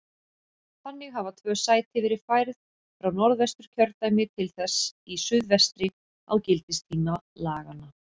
Þannig hafa tvö sæti verið færð frá Norðvesturkjördæmi til þess í suðvestri á gildistíma laganna.